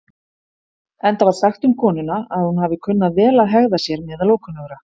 Enda var sagt um konuna að hún hafi kunnað vel að hegða sér meðal ókunnugra.